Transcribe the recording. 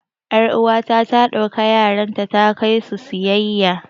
yar'uwata ta ɗauki yaranta ta kai su siyayya